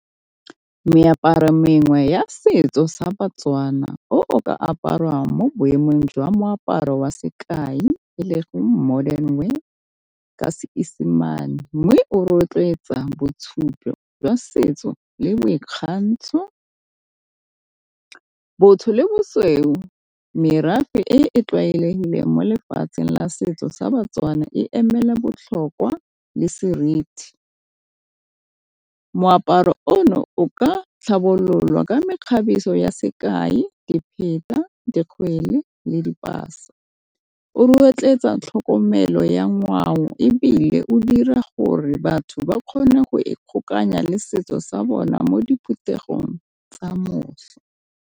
Meaparo e mengwe ya setso sa baTswana o o ka aparwang mo boemong jwa moaparo wa sekai e ka Seesimane mme o rotloetsa boitshupo jwa setso le boikgantsho, botho le bosweu merafe e e tlwaelegileng mo lefatsheng la setso sa baTswana e emela botlhokwa le seriti. Moaparo ono ka tlhabololwa ka mekgabiso ya sekai dipheta, dikgwele, le dipasa. O rotloetsa tlhokomelo ya ngwao ebile o dira gore batho ba kgone go e kgokanya le setso sa bona mo diphuthegong tsa .